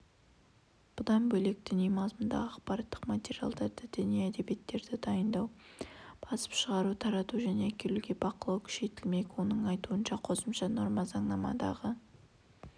бұдан бөлек діни мазмұндағы ақпараттық материалдарды діни әдебиеттерді дайындау басып шығару тарату және әкелуге бақылау күшейтілмек оның айтуынша қосымша норма заңнамадағы